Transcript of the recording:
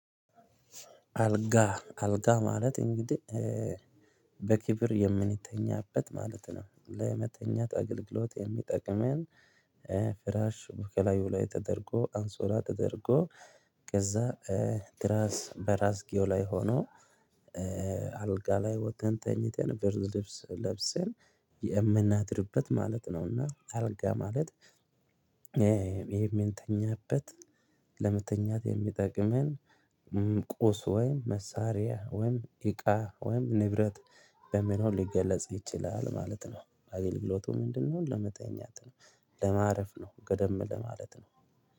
አልጋ አልጋ ማለት እንግዲህ በክብር የምንተኛበት ማለት ነው ለመተኛት አገልግሎት የሚጠቅመን ፍራሽ በላዩ ላይ ተደርጎ አንሶላ ተደርጎ ከዛ ትራስ በራስጌው ላይ ሆኖ አልጋ ላይ ወተን ተኝተን ብርድ ልብስ ለብሰን የምናድርበት ማለት ነውና። አልጋ ማለት ይሄ የምንተኛበት ለመተኛት የሚጠቅመን ቁስ ወይም መሳሪያ ወይም እቃ ወይም ንብረት በመኖር ሊገለጽ ይችላል ማለት ነው። አገልግሎቱ ምንድን ነው? ለመተኛት ነው ለማረፍ ነው ገደም ለማለት ነው